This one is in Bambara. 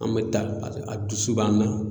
An mɛ taa a a dusu b'an na.